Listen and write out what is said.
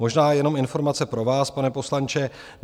Možná jenom informace pro vás, pane poslanče.